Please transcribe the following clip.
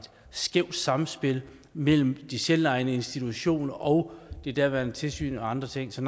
skævt sammenspil mellem de selvejende institutioner og det daværende tilsyn og andre ting så